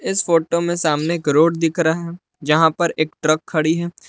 इस फोटो में सामने एक रोड दिख रहा है जहाँ पर एक ट्रक खड़ी है।